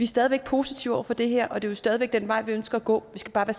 stadig væk positive over for det her og det er jo stadig væk den vej vi ønsker at gå vi skal bare